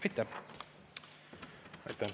Aitäh!